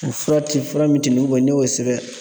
U fura tɛ yen fura min n'i y'o sɛbɛn